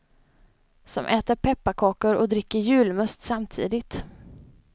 Som äter pepparkakor och dricker julmust samtidigt.